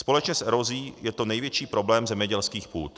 Společně s erozí je to největší problém zemědělských půd.